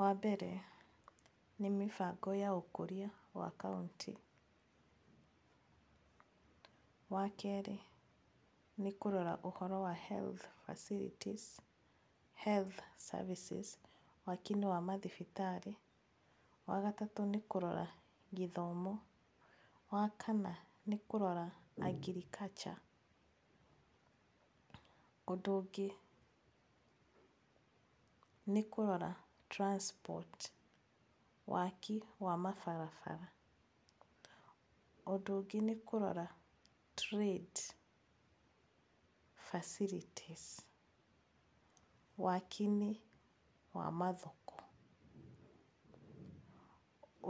Wa mbere nĩ mĩbango ya ũkũria wa kaũntĩ. Wa kerĩ nĩ kũrora ũhoro wa health facilities health services waakiinĩ wa mathibitarĩ. Wa gatatũ nĩ kũrora gĩthomo. Wa kana nĩ kũrora Agriculture. Ũndũ ũngĩ nĩ kũrora Transport waki wa mabarabara. Ũndũ ũngĩ nĩ kũrora trade facilities wakiinĩ wa mathoko.